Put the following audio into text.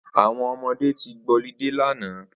Awọn ọmọdé ti gbọlidé làná